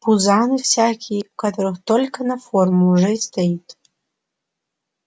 пузаны всякие у которых только на форму уже и стоит